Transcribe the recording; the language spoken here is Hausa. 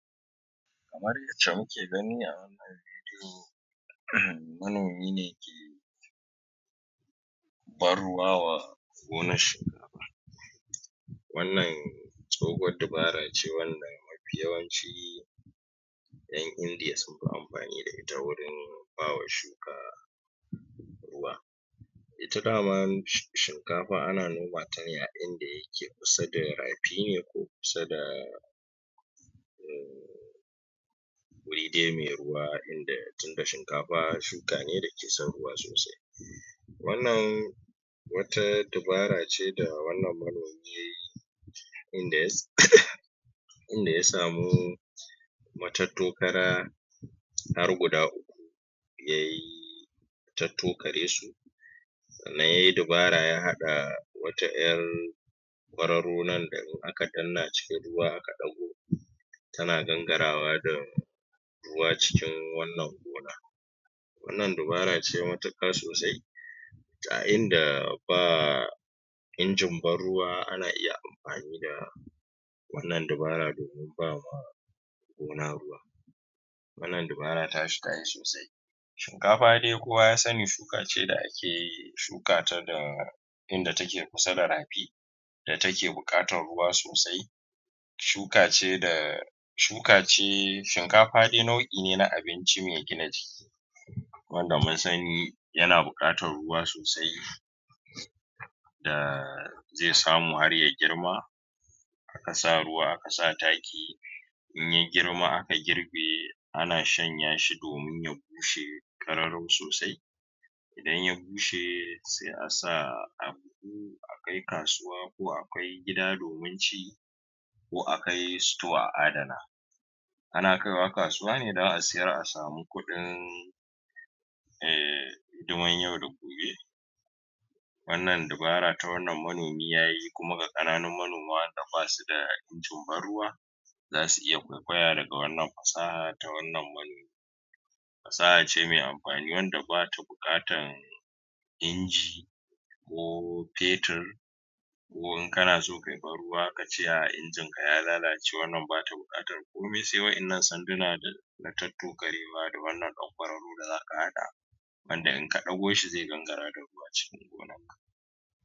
Kamar yadda muke gani a wannan bidiyo manomi ne ke ban-ruwa wa gonar shinkafa. Wannan tsohuwar dabara ce wanda mafi yawanci ƴan Indiya sun fi amfani da ita wurin ba wa shuka ruwa. Ita dama shinkafa ana noma ta ne a wurin da ya ke kusa da rafi ne, ko kusa da wuri dai mai ruwa. tun da shinkafa shuka ne mai son ruwa sosai. Wannan wata dabara ce da wannan manomi ya yi in da ya samu matattokara har guda uku ya yi tattokare su sannan ya yi dabara ya haɗa wata ƴar kwararo nan da in aka danna cikin ruwa aka ɗago tana gangarawa da ruwa cikin wannan gona. Wannan dabara ce matuƙa sosai, a inda ba injin ban-ruwa ana iya amfani da wannan dabara domin ba wa gona ruwa. Wannan dabara ta shi ta yi sosai. Shinkafa dai kowa ya sani shuka ce da ake iya shuka ta da inda take kusa da rafi, da take buƙatar ruwa sosai, Shuka ce. Shinkafa dai nau'i ne na abinci mai gina jiki. Wanda mun sani, yana buƙatar ruwa sosai. da zai samu har ya girma, Aka sa ruwa aka sa taki, in ya yi girma aka girbe ana shanya shi domin ya bushe ƙararau sosai. Idan ya bushe sai a sa a buhu, a kai kasuwa, ko a kai gida domin ci. Ko a kai "store" a adana. Ana kai wa kasuwa ne don a siyar a samu kuɗin um hidimar yau da gobe. Wannan dabara ta wannan manomi ya yi, kuma ga ƙananan manoma waɗanda ba su da injin ban-ruwa, za su iya kwaikwaya daga wannan fasaha ta wannan manomi. Fasaha ce mai amfani wanda ba ta buƙatan inji, ko fetur, ko in kana so ka yi ban-ruwa, ka ce injinka ya lalace. Wannan ba ta buƙatar komai sai waɗanan sanduna da na tattokarewa da wannan ɗan kwararo da za ka haɗa wanda in ka ɗago shi zai gangara da ruwa cikin gona.